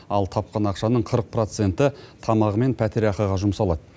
ал тапқан ақшаның қырық проценті тамағы мен пәтерақыға жұмсалады